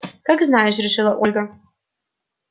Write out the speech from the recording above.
как знаешь решила ольга